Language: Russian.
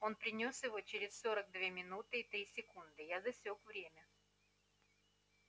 он принёс его через сорок две минуты и три секунды я засёк время